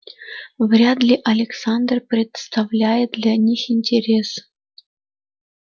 вряд ли александр представляет для них интерес